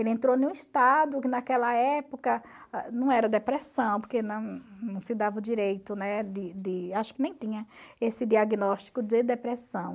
Ele entrou em um estado que naquela época não era depressão, porque não não se dava o direito, né, de de... acho que nem tinha esse diagnóstico de depressão.